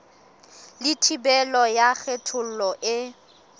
le thibelo ya kgethollo e